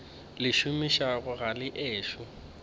le šomišago ga le ešo